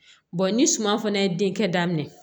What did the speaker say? ni suma fana ye denkɛ daminɛ